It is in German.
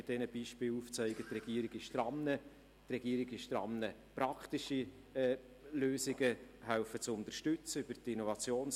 Mit diesen Beispielen will ich Ihnen aufzeigen, dass die Regierung daran ist, praktische Lösungen über die Innovationsförderung unterstützen hilft.